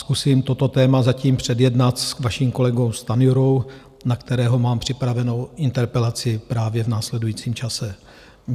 Zkusím toto téma zatím předjednat s vaším kolegou Stanjurou, na kterého mám připravenou interpelaci právě v následujícím čase.